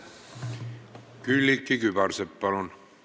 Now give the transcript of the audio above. Külliki Kübarsepp, palun!